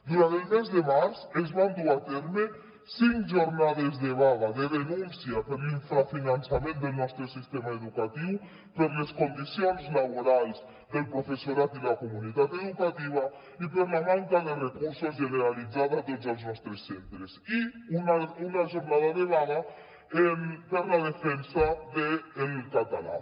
durant el mes de març es van dur a terme cinc jornades de vaga de denúncia per l’infrafinançament del nostre sistema educatiu per les condicions laborals del professorat i la comunitat educativa i per la manca de recursos generalitzada a tots els nostres centres i una jornada de vaga per la defensa del català